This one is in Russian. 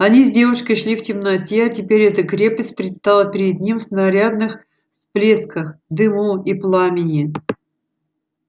они с девушкой шли в темноте а теперь эта крепость предстала перед ним в снарядных всплесках дыму и пламени